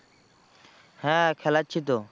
হ্যাঁ খেলাচ্ছি তো।